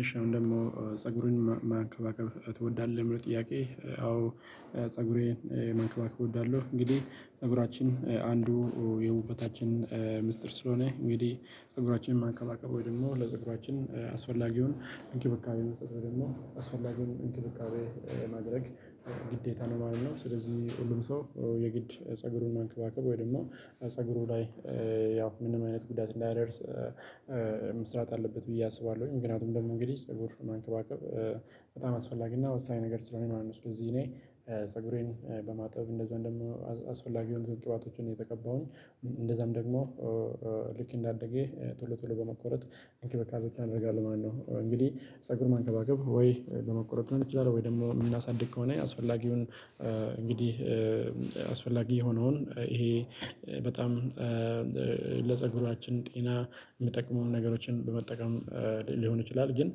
እሺ አሁን ደግሞ ፀጉርህን መንከባከብ ትወዳለህ ለሚለው ጥያቄ? አዎ ፀጉሬን መንከባከብ እወዳለሁ። እንግዲህ ፀጉራችን አንዱ የውበታችን ምስጢር ስለሆነ እንግዲህ ፀጉራችንን መንከባከብ ወይም ደግሞ ለፀጉራችን አስፈላጊውን እንክብካቤ መስጠት ወይም ደግሞ አስፈላጊውን እንክብካቤ ለማድረግ ግዴታ ነው ማለት ነው። ስለዚህ ሁሉም ሰው የግድ ፀጉሩን መንከባከብ ወይም ደግሞ ፀጉሩ ላይ ያው ምንም አይነት ጉዳት እንዳይደርስ መስራት አለበት ብዬ አስባለሁ። ምክንያቱም ደግሞ እንግዲህ ፀጉር መንከባከብ በጣም አስፈላጊና ወሳኝ ነገር ስለሆነ ማለት ነው። ስለዚህ እኔ ፀጉሬን በማጠብ እንደዚሁም ደግሞ አስፈላጊ የሆኑ ቅባቶችን ነው የተቀባሁ እንደዚያም ደግሞ ልክ እንዳደገ ቶሎ ቶሎ በመቆረጥ እንክብካቤወች አደርጋለሁ ማለት ነው። እንግዲህ ፀጉር መንከባከብ ወይ ለመቆረጥ ሊሆን ይችላለን ወይም ደግሞ የምናሳድግ ከሆነ አስፈላጊውን እንግዲህ አስፈላጊ የሆነውን ይሄ በጣም ለፀጉራችን ጤና ሚጠቅሙንን ነገሮችን በመጠቀም ሊሆን ይችላል ግን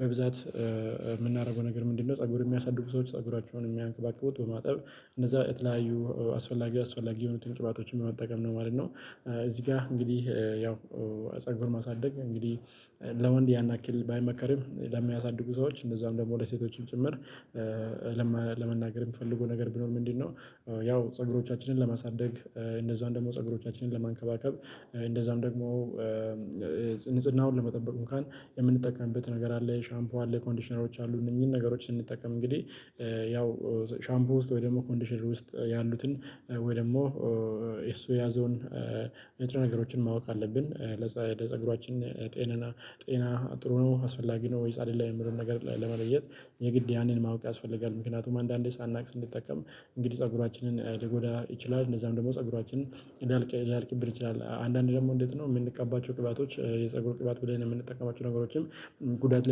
በብዛት የምናደርገው ነገር ምንድን ነው? ፀጉር የሚያሳድጉ ሰዎች ፀጉራቸውን የሚንከባከቡት በማጠብ እነዚያ የተለያዩ አስፈላጊ የሆኑትን ቅባቶችን በመጠቀም ነው ማለት ነው። እዚህ ጋር እንግዲህ ያው ጸጉርን ማሳደግ እንግዲህ ለወንድ ያን አክል ባይመከርም ለሚያሳድጉ ሰዎች እንደዚሁም ደግሞ ለሴቶችም ጭምር ለመናገር የምፈልገው ነገር ቢኖር ምንድን ነው? ያው ፀጉሮቻችንን ለማሳደግ እንደዛም ደግሞ ፀጉሮቻችንን ለመንከባከብ እንደዛም ደግሞ ንጽህናውን ለመጠበቅ እንኳን የምንጠቀምበት ነገር አለ ሻምፖ አለ ኮንዲሽነሮች አሉ እነዚህን ነገሮች ስንጠቀም እንግዲህ ያው ሻምፖ ውስጥ ወይም ደግሞ ኮንዲሽነር ውስጥ ያሉትን ወይም ደግሞ እሱ ያዘውን ነገሮችን ማወቅ አለብን። ለፀጉራችን ጤና ጥሩ ነው አስፈላጊ ነው ወይስ አይደለም የሚለዉን ነገር ለመለየት የግድ ያንን ማወቅ ያስፈልጋል። ምክንያቱም አንዳንዴ ሳናውቅ ስንጠቀም እንግዲህ ፀጉራችንን ሊጎዳ ይችላል። እንደዛም ደግሞ ፀጉራችንን ሊያልቅብን ይችላል አንዳንድ ደግሞ እንዴት ነው የምንቀባቸው ቅባቶች የፀጉር ቅባት ብለን የምንጠቀማቸው ነገሮችም ጉዳት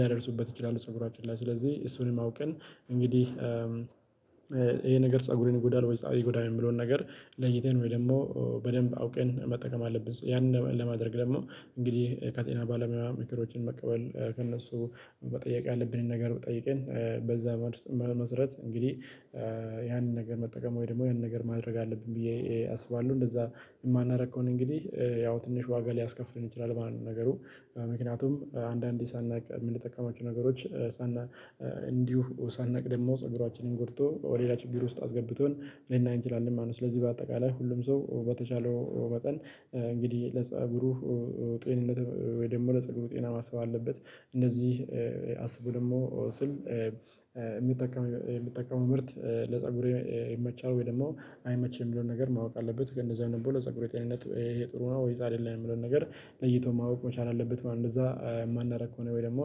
ሊያደርሱበት ይችላሉ። ፀጉራችን ላይ ስለዚህ ልክ እንዳደገ ቶሎ ቶሎ በመቆረጥ እንክብካቤ እናደርጋለን ማለት ነው። እንግዲህ ፀጉር መንከባከብ ወይ ለመቆረጥ ሊሆን ይችላል ወይም ደግሞ የምናሳድግ ከሆነ አስፈላጊውን እንግዲህ አስፈላጊ የሆነውን ይሄ በጣም ይሄ ነገር ፀጉርን ይጎዳል ወይስ አይጎዳም የሚለውን ነገር ለይተን ወይም ደግሞ በደንብ አውቀን መጠቀም አለብን። ያንን ለማድረግ ደግሞ እንግዲህ ከጤና ባለሙያ ምክሮችን መቀበል ከእነሱ መጠየቅ ያለብንን ነገር ጠይቀን በዚያ መሰረት እንግዲህ ያንን ነገር መጠቀም ወይም ደግሞ ያንን ነገር ማድረግ አለብን ብዬ አስባለሁ። እንደዚያ የማናደርግ ከሆነ እንግዲህ ያው ትንሽ ዋጋ ሊያስከፍለን ይችላል ማለት ነው። ነገሩ ምክንያቱም አንዳንዴ ሳናውቅ ምንጠቀማቸው ነገሮች እንዲሁ ሳናውቅ ደግሞ ፀጉራችንን ጎድቶ ወደ ሌላ ችግር ውስጥ አስገብቶን ልናይ እንችላለን ማለት ነው። ስለዚህ በአጠቃላይ ሁሉም ሰው በተቻለው መጠን እንግዲህ ለጸጉሩ ጤንነት ወይም ደግሞ ለጸጉሩ ጤና ማሰብ አለበት። እነዚህ አስቦ ደግሞ ስል የሚጠቀመው ምርት ለፀጉሬ ይመቻል ወይም ደግሞ አይመችም ሚለውን ነገር ማወቅ አለበት። እንደዚህ አይነት ብሎ ለፀጉሬ ጤንነት ይሄ ይሄ ጥሩ ነው ወይስ አይደለም የሚለውን ነገር ለይቶ ማወቅ መቻል አለበት ማለት ነው። እንደዚያ የማናደርግ ከሆነ ወይም ደግሞ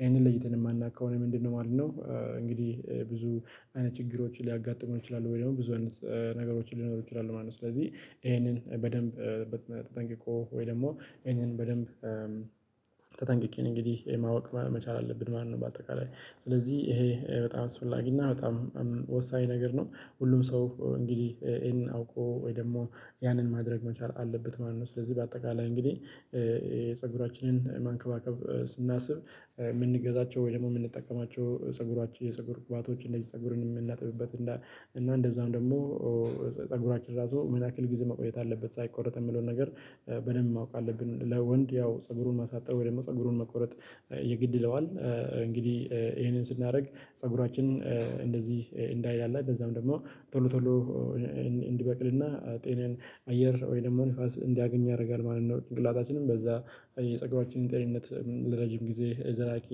ይሄንን ለይተን የማናውቅ ከሆነ ምንድን ነው ማለት ነው? እንግዲህ ብዙ አይነት ችግሮች ሊያጋጥሙን ይችላሉ ወይም ደግሞ ብዙ አይነት ነገሮች ሊኖሩ ይችላሉ ማለት ነው። ስለዚህ ይሄንን በደንብ ጠንቅቆ ወይም ደግሞ ይሄንን በደንብ ተጠንቅቄ እንግዲህ ማወቅ መቻል አለብን ማለት ነው። በአጠቃላይ ስለዚህ ይሄ በጣም አስፈላጊ እና በጣም ወሳኝ ነገር ነው። ሁሉም ሰው እንግዲህ ይሄንን አውቆ ወይም ደግሞ ያንን ማድረግ መቻል አለበት ማለት ነው። ስለዚህ በአጠቃላይ እንግዲህ ፀጉራችንን ማንከባከብ ስናስብ ምንገዛቸው ወይ ደግሞ ምንጠቀማቸው ፀጉሯችን የፀጉር ቅባቶች እንደዚህ ፀጉርን የምናጥብበት እና እንደዚያም ደግሞ ፀጉራችን ራሱ ምን ያክል ጊዜ መቆየት አለበት ሳይቆርጥ የሚለውን ነገር በደንብ ማወቅ አለብን። ለወንድ ያው ፀጉሩን ማሳጠር ወይም ደግሞ ፀጉሩን መቆረጥ የግድ ይለዋል እንግዲህ ይሄንን ስናደርግ ፀጉራችን እንደዚህ እንዳለ እንደዚያም ደግሞ ቶሎ ቶሎ እንዲበቅልና ጤናዬን አየር ወይም ደግሞ ንፋስ እንዲያገኝ ያደርጋል ማለት ነው። ጭንቅላታችንም በዚያ የፀጉራችንን ጤንነት ለረጅም ጊዜ ዘላቂ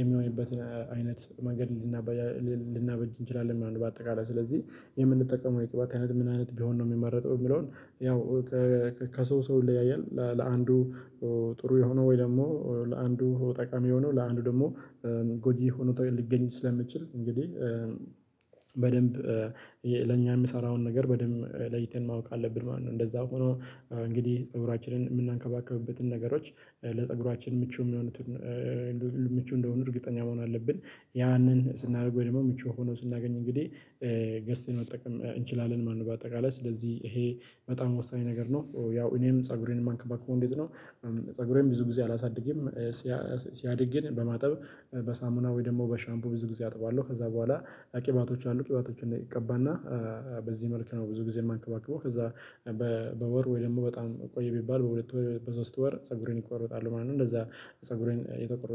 የሚሆንበትን አይነት መንገድ ልናበጅ እንችላለን ማለት ነው። በአጠቃላይ ስለዚህ የምንጠቀመው የቅባት አይነት ምን አይነት ቢሆን ነው የሚመረጠው? የሚለውን ያው ከሰው ሰው ይለያያል ለአንዱ ጥሩ የሆነው ወይም ደግሞ ለአንዱ ጠቃሚ የሆነው ለአንዱ ደግሞ ጎጂ ሆኖ ሊገኝ ስለሚችል እንግዲህ በደንብ ለእኛ የሚሰራውን ነገር በደንብ ለይተን ማወቅ አለብን ማለት ነው። እንደዚያ ሆኖ እንግዲህ ፀጉራችንን ምንከባከብበትን ነገሮች ለፀጉራችን ምቹ ሚሆኑትን ምቹ እንደሆኑ እርግጠኛ መሆን አለብን። ያንን ስናደርግ ወይም ደግሞ ምቹ ሆኖ ስናገኝ እንግዲህ ገዝተን መጠቀም እንችላለን ማለት ነው። በአጠቃላይ ስለዚህ ይሄ በጣም ወሳኝ ነገር ነው። ያው እኔም ፀጉሬን ምንከባከበው እንዴት ነው? ፀጉሬን ብዙ ጊዜ አላሳድግም። ሲያድግ ግን በማጠብ በሳሙና ወይ ደግሞ በሻምፖ ብዙ ጊዜ አጥበዋለሁ። ከዚያ በኋላ ቅባቶች አሉ ቅባቶችን እቀባና በዚህ መልኩ ነው ብዙ ጊዜ ምንከባክበው። ከዚያ በወር ወይ ደግሞ በጣም ቆየ ቢባል በሁለት ወር በሶስት ወር ፀጉሬን እቆረጣለሁ ማለት ነው። እንደዚያ ፀጉሬን የተቆረጥኩ